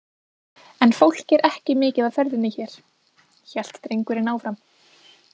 En fólk er ekki mikið á ferðinni hér, hélt drengurinn áfram.